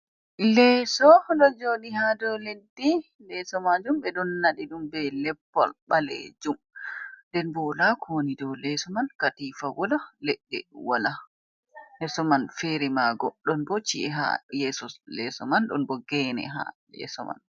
Leeso ɗo joɗi ha dou leddi, leso majuum ɓe ɗon naɗi ɗum be leppol balejuum, nden bo wala kowoni dou leso man, katifa wala, leɗɗe wala ha leso man fere mago ɗon bo ci’e ha yeso leso man, ɗon bo gene ha yeso man.